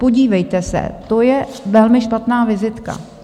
Podívejte se, to je velmi špatná vizitka.